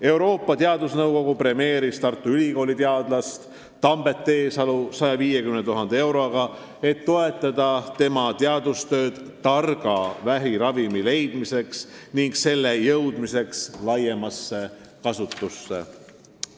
Euroopa Teadusnõukogu premeeris Tartu Ülikooli teadlast Tambet Teesalu 150 000 euroga, et toetada tema teadustööd targa vähiravimi leidmiseks ning selle jõudmiseks laiemasse kasutusse.